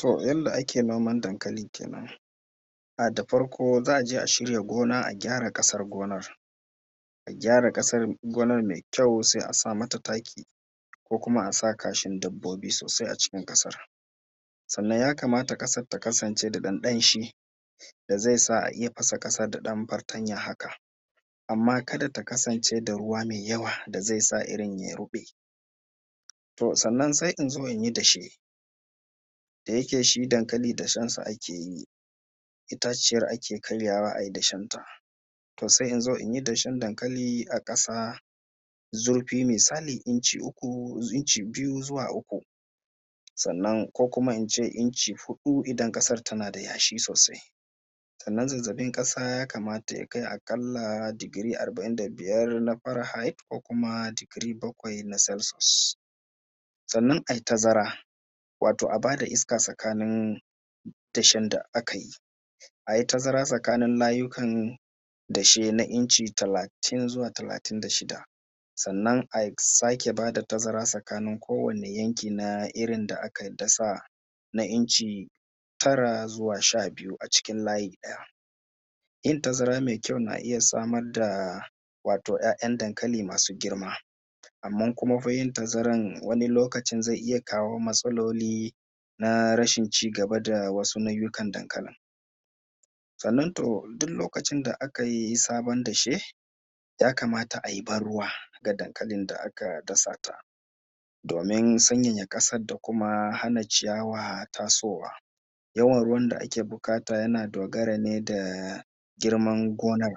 To yanda ake noman dankali kenan. Da farko za a je a shirya gonan a gyara kasan gonan mai kyau, a sa mata taki, ko kuma a sa kashin dabbobi sosai a cikin ƙasar, sannan ya kamata ƙasar ta kasance da ɗan danshi da zai sa a iya fasa ƙasar dan fartanya haka, amma kada ta kasance da ruwa mai yawa da zai sa irin ya ruɓe. To sannan sai in zo in yi dashe da yake shi dankali dashen sa ake yi. Itaciyar ake karyawa a yi dashen ta. To sai in zo in yi dashen dankali a ƙasa mai zurfi inci uku ko inci biyu, zuwa uku. Sannan ko kuma in ce inci huɗu idan ƙasan tana da yashi sosai. Sannan zazzaɓin ƙasa ya kamata ya kai a ƙalla digiri arba’in da biyar na faran hait, ko kuma digiri bakwai na salshius. Sannan a yi tazara, wato a ba da iska tsakanin dashen da aka yi, a yi tazara tsakanin layukan dashe na inci talatin zuwa talatin da shida. Sannan a sake ba da tazara tsakanin kowane yanki na irin da aka dasa na inci tara, zuwa sha biyu a cikin layi ɗaya. Yin tazara mai kyau na iya samar da ‘ya’yan dankali masu girma, amma fa yin tazaran wani lokaci zai iya kawo matsaloli na rashin cigaba da wasu nau’ikan dankali. Sannan to duk lokacin da a kai sabon dashe, ya kamata a yi ban ruwa ga dankalin da aka dasa ta domin sanyayya ƙasar da kuma hana ciyawa tasowa. Yawan ruwan da ake buƙata yana dogara ne da girman gonar,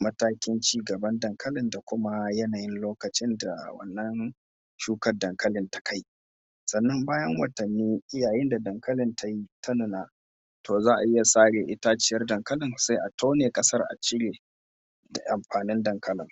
matakin cigaban dankali, da kuma yanayin lokacin da wannan shukan dankali ya kai. Sannan bayan watannin yayin da dankalin ta yi, ta nuna, to za a iya sare itaciyar dankali sai a tone ƙasar a cire ƙwayan dankalin.